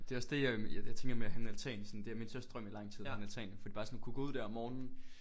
Det er også det jeg jeg tænker med at have en altan sådan det er min største drøm i lang tid en altan forbi bare sådan at kunne gå ud der om morgenen